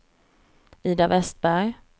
Ida Westberg